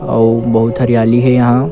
अऊ बहुत हरियाली हे यहाँ--